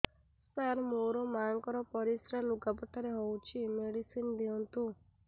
ସାର ମୋର ମାଆଙ୍କର ପରିସ୍ରା ଲୁଗାପଟା ରେ ହଉଚି ମେଡିସିନ ଦିଅନ୍ତୁ